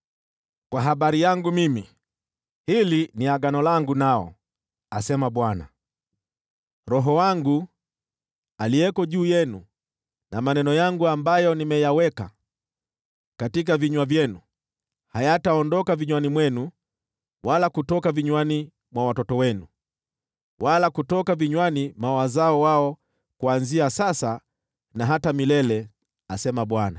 “Kwa habari yangu mimi, hili ndilo agano langu nao,” asema Bwana . “Roho wangu, aliye juu yenu, na maneno yangu ambayo nimeyaweka katika vinywa vyenu, havitaondoka vinywani mwenu, wala kutoka vinywani mwa watoto wenu, wala kutoka vinywani mwa wazao wao, kuanzia sasa na hata milele,” asema Bwana .